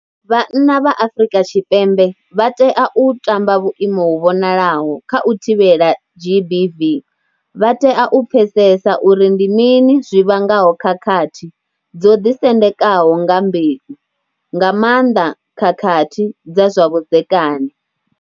Vhanna vha Afrika Tshipembe vha tea u tamba vhuimo hu vhonalaho kha u thivhela GBV. Vha tea u pfesesa uri ndi mini zwi vhangaho khakhathi dzo ḓisendekaho nga mbeu, nga maanḓa khakhathi dza zwa vhudzekani.